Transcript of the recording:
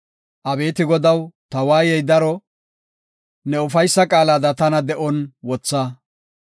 Abeeti Godaw, ta waayey daro; ne ufaysa qaalada tana de7on wotha.